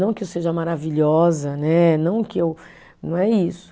Não que eu seja maravilhosa, né, não que eu, não é isso.